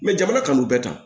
jamana kan k'u bɛɛ ta